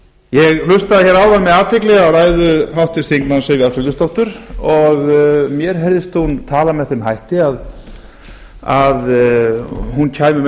ég hlustaði hér áðan með athygli áðan á ræðu háttvirts þingmanns sivjar friðleifsdóttur og mér heyrðist hún tala með þeim hætti að hún kæmi með